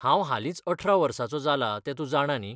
हांव हालींच अठरा वर्साचो जाला ते तूंं जाणा न्ही?